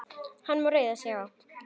Hann má reiða sig á.